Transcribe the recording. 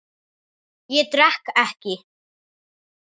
Ég drekk ekki.